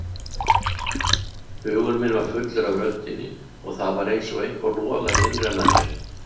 Hugur minn var fullur af röddinni og það var einsog eitthvað logaði innra með mér.